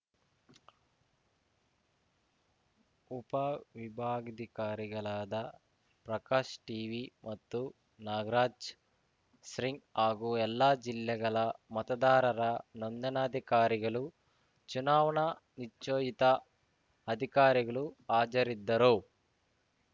ಉಪವಿಭಾಗಾಧಿಕಾರಿಗಳಾದ Prakash TV ಮತ್ತು ನಾಗರಾಜ್‌ ಸಿಂಗ್ ಹಾಗೂ ಎಲ್ಲಾ ಜಿಲ್ಲೆಗಳ ಮತದಾರರ ನೋಂದಣಾಧಿಕಾರಿಗಳು ಚುನಾವಣಾ ನಿಚ್ಚೋಯಿತ ಅಧಿಕಾರಿಗಳು ಹಾಜರಿದ್ದರು